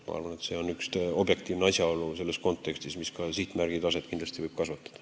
Ma arvan, et see on selles kontekstis üks objektiivne asjaolu, mis võib ka meil sihtmärgi taset kasvatada.